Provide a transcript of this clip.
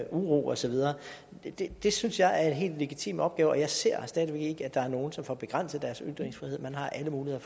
uro og så videre det det synes jeg er en helt legitim opgave og jeg ser stadig væk ikke at der er nogle som får begrænset deres ytringsfrihed man har alle muligheder